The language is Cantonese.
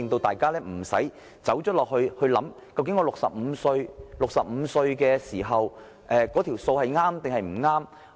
大家也無須顧慮，究竟長者到65歲時的這條數是否計算正確。